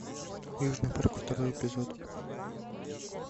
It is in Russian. южный парк второй эпизод